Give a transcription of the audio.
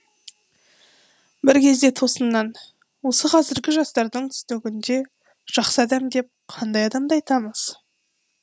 бір кезде тосыннан осы қазіргі жастардың түсінігінде жақсы адам деп қандай адамды айтамыз